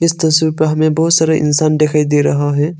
इस तस्वीर पे हमें बहुत सारा इंसान दिखाई दे रहा है।